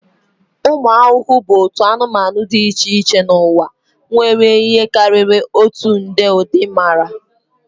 Ụmụ ahụhụ bụ otu anụmanụ dị iche iche n'ụwa, nwere ihe karịrị otu nde ụdị mara.